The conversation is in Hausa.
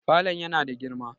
falon yana da girma